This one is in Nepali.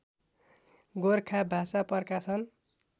गोरखा भाषा प्रकाशन